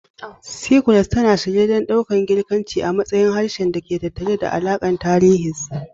Cyprus, tana shirye don ɗaukan Girkanci a matsayin harshen da ke tattare da alakar tarihi da tasirinsa.